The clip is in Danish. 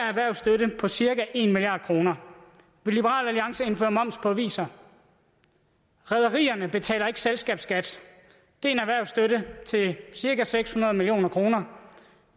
erhvervsstøtte på cirka en milliard kroner vil liberal alliance indføre moms på aviser rederierne betaler ikke selskabsskat det er en erhvervsstøtte til cirka seks hundrede million kroner